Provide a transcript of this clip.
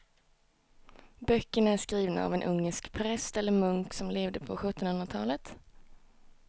Böckerna är skrivna av en ungersk präst eller munk som levde på sjuttonhundratalet.